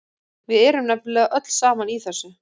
Við erum nefnilega öll saman í þessu.